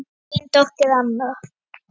Þín dóttir Anna.